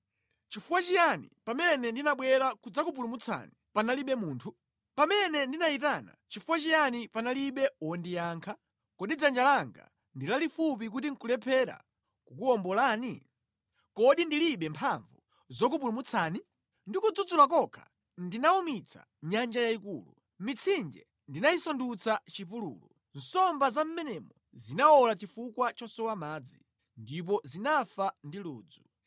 Nʼchifukwa chiyani pamene ndinabwera kudzakupulumutsani panalibe munthu? Pamene ndinayitana, nʼchifukwa chiyani panalibe wondiyankha? Kodi dzanja langa ndi lalifupi kuti nʼkulephera kukuwombolani? Kodi ndilibe mphamvu zokupulumutsirani? Ndi kudzudzula kokha ndinawumitsa nyanja yayikulu, mitsinje ndinayisandutsa chipululu; nsomba za mʼmenemo zinawola chifukwa chosowa madzi; ndipo zinafa ndi ludzu.